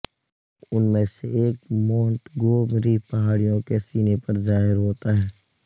ان میں سے ایک مونٹگومری پہاڑیوں کے سینے پر ظاہر ہوتا ہے